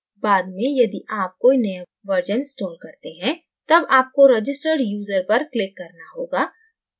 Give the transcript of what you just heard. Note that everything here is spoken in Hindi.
बाद में यदि आप कोई नया version install करते हैं तब आपको registered user पर click करना होगा